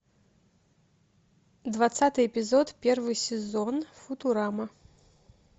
двадцатый эпизод первый сезон футурама